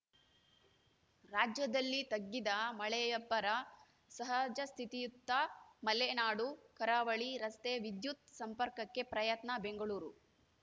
ರಾಜ್ಯದಲ್ಲಿ ತಗ್ಗಿದ ಮಳೆಯಬ್ಬರ ಸಹಜಸ್ಥಿತಿಯತ್ತ ಮಲೆನಾಡು ಕರಾವಳಿ ರಸ್ತೆ ವಿದ್ಯುತ್‌ ಸಂಪರ್ಕಕ್ಕೆ ಪ್ರಯತ್ನ ಬೆಂಗಳೂರು